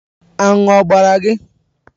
Aṅụ ọ gbara gị?